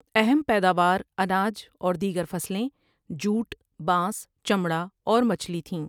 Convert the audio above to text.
اہم پیداوار اناج اور دیگر فصلیں، جوٹ، بانس، چمڑا اور مچھلی تھیں۔